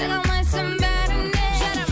жарамайсың бәріне жарамай